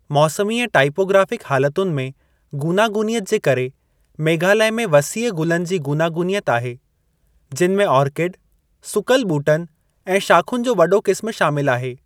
मौसमी ऐं टाइपोग्राफ़िक हालतुनि में गूनागूनियत जे करे, मेघालय में वसीअ गुलनि जी गूनागूनियत आहे, जिनि में ओर्किड, सुकल ॿूटनि ऐं शाख़ुनि जो वॾो क़िस्म शामिल आहे।